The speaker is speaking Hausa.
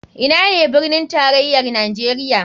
Ina ne birnin tarayar nijeria?